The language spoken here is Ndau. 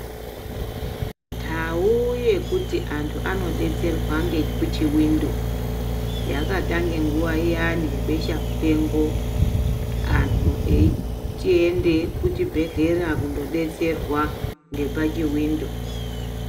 Ndau yekuti antu anodetsrerwa nekuchiwindo yakatange nguva iyani yebesha mupengo antu eyichienda kuchibhedhlera kuno detserwa nekuchiwindo.